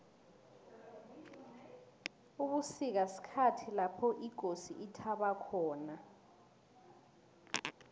ubusika sikhathi lapho ikosi ithaba khona